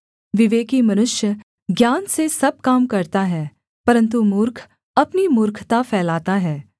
विवेकी मनुष्य ज्ञान से सब काम करता हैं परन्तु मूर्ख अपनी मूर्खता फैलाता है